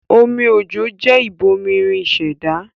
Omi òjò jẹ́ ìbomirin ìṣẹ̀dá